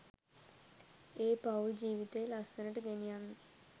ඒ පවුල් ජීවිතේ ලස්සනට ගෙනියන්න.